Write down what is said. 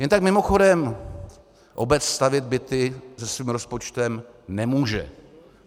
Jen tak mimochodem, obec stavět byty se svým rozpočtem nemůže.